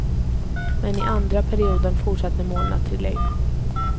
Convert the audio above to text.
Men i andra perioden fortsatte målen att trilla in.